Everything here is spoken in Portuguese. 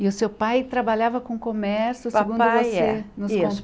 E o seu pai trabalhava com comércio, Papai é isso segundo você nos